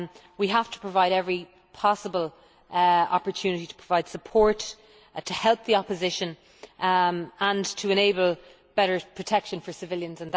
We have to provide every possible opportunity to provide support, to help the opposition and to enable better protection for civilians